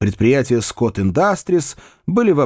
предприятия скотт индастриз были в